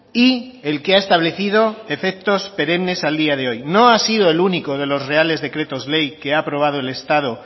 y el que ha establecido efectos perennes a día de hoy no ha sido el único de los reales decretos ley que ha aprobado el estado